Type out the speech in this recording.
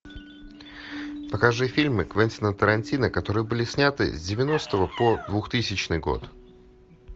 покажи фильмы квентина тарантино которые были сняты с девяностого по двухтысячный год